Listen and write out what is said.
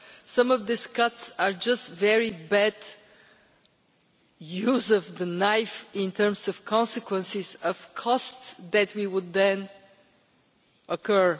Some of these cuts are just very bad use of the knife, in terms of the consequences of the costs we would then incur.